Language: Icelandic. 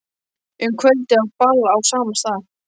Um kvöldið á ball á sama stað.